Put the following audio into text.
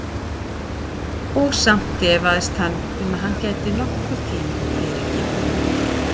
Og samt efaðist hann um að hann gæti nokkurn tíma fyrirgefið honum.